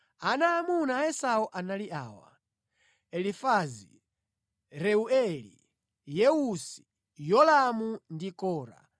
Ana aamuna a Esau anali awa: Elifazi, Reueli, Yeusi, Yolamu ndi Kora.